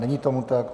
Není tomu tak.